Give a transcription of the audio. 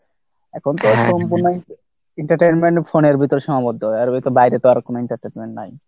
এখনতো সম্পূর্ণা entertainment phone এর ভিতরে সীমাবদ্ধ আর এর বাইরে তো আর কোনো entertainment নাই